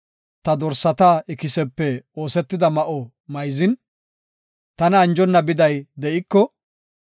ta dorsata ikisepe oosetida ma7o mayzin, tana anjona biday de7iko,